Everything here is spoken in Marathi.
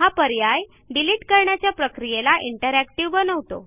हा पर्याय डिलिट करण्याच्या प्रक्रियेला इंटरॅक्टिव्ह बनवतो